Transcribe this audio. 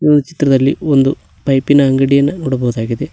ಈ ಒಂದ್ ಚಿತ್ರದಲ್ಲಿ ಒಂದು ಪೈಪಿನ ಅಂಗಡಿಯನ್ನ ನೋಡಬಹುದಾಗಿದೆ.